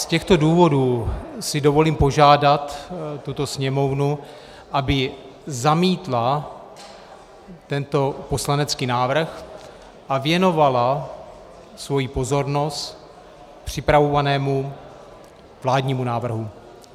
Z těchto důvodů si dovolím požádat tuto Sněmovnu, aby zamítla tento poslanecký návrh a věnovala svoji pozornost připravovanému vládnímu návrhu.